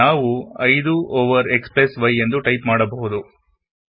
ನಾವು 5 over xy ಅಂತಲೂ ಬರೆಯಬಹುದು